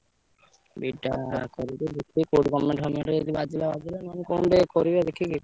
B.Ed କରିକି ଦେଖିଆ କୋଉଠି government ଫମେଣ୍ଟ ଯଦି ବାଜିଲା ବାଜିଲା ନହେଲେ କଣ ଗୋଟେ କରିବା ଦେଖିକି।